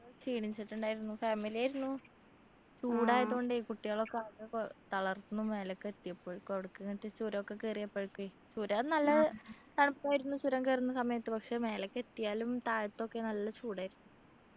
ക്ഷീണിച്ചിട്ടുണ്ടായിരുന്നു family ആയിരുന്നു ചൂടായതുകൊണ്ടേ കുട്ടികളൊക്കെ ആകെ കൊ തളർന്നു മേലേക്ക് എത്തിയപ്പോഴേക്കു അവിടേക്ക് എന്നിട്ടു ചുരമൊക്കെ കേറിയപ്പോഴേക്കുഎ ചുരം നല്ല തണുപ്പായിരുന്നു ചുരം കേറുന്ന സമയത്തു പക്ഷെ മേലേക്ക് എത്തിയാലും താഴത്തൊക്കെ നല്ല ചൂട് ആയിരുന്നു